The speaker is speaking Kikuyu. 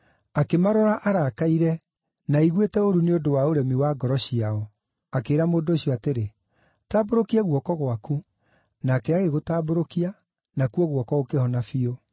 Akĩmarora arakaire, na aiguĩte ũũru nĩ ũndũ wa ũremi wa ngoro ciao, akĩĩra mũndũ ũcio atĩrĩ, “Tambũrũkia guoko gwaku.” Nake agĩgũtambũrũkia, nakuo guoko gũkĩhona biũ.